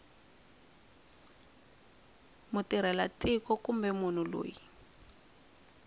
mutirhela tiko kumbe munhu loyi